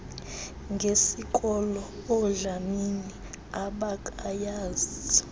ngesikolo oodlamini abakayazi